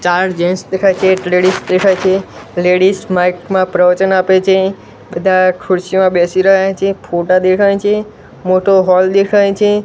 ચાર જેન્ટ્સ દેખાય છે એક લેડીઝ દેખાય છે લેડીઝ માઇક મા પ્રવચન આપે છે બધા ખુરસીમાં બેસી રહ્યા છે ફોટા દેખાય છે મોટો હૉલ દેખાય છે.